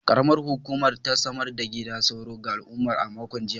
Karamar Hukumar ta samar da gidan sauro ga al’umma a makon jiya.